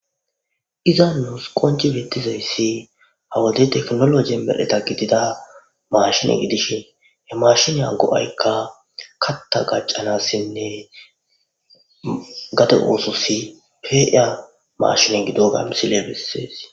iza nuus qonci bettizayssi ha wode teknoloje medheta gidida mashine gidishin he mashinya go'aykka katta gaccanassinne gade oososi pi'iya mashine gidoga misiley bessees